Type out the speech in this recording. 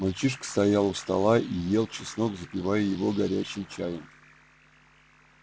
мальчишка стоял у стола и ел чеснок запивая его горячим чаем